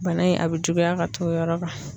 Bana in a bɛ juguya ka t'o yɔrɔ kan.